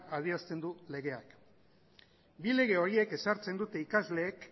adierazten du legeak bi lege horiek ezartzen dute ikasleek